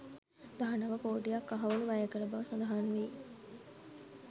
දහනව කෝටියක් කහවණු වැය කළ බව සඳහන් වෙයි.